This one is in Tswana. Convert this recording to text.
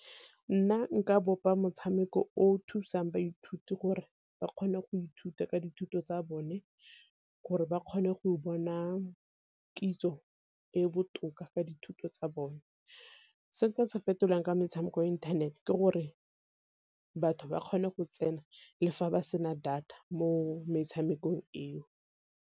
Nna nka bopa motshameko o o thusang baithuti gore ba kgone go ithuta ka dithuto tsa bone, gore ba kgone go bona kitso e e botoka ka dithuto tsa bone. Se nka se fetolang ka metshameko ya inthanete ke gore batho ba kgone go tsena le fa ba sena data mo metshamekong eo.